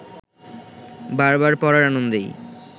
বার বার পড়ার আনন্দেই